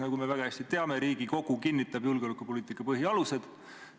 Nagu me väga hästi teame, Riigikogu kinnitab julgeolekupoliitika põhialused.